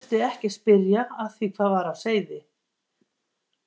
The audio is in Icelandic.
Þurfti ekki að spyrja að því hvað var á seyði.